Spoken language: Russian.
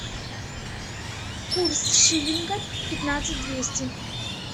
курс шиллинга пятнадцать двести